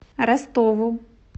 ростову